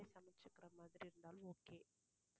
சமைச்சுக்குற மாதிரி இருந்தாலும் okay